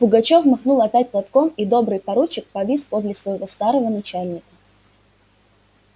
пугачёв махнул опять платком и добрый поручик повис подле своего старого начальника